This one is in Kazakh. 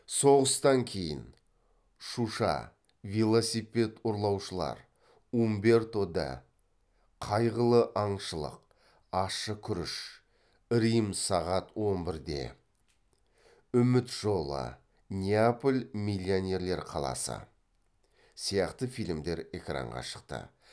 соғыстан кейін шуша велосипед ұрлаушылар умберто д қайғылы аңшылық ащы күріш рим сағат он бірде үміт жолы неаполь миллионерлер қаласы сияқты фильмдер экранға шықты